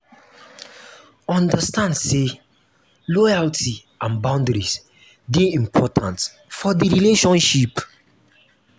understand say loyalty and boundaries de important for the relationship